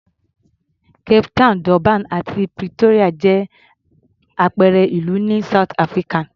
Cape Town, Durban àti Pretoria jẹ́ àpẹẹrẹ ìlú ní South Africa.